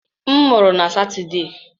M mụrụ na Satọde.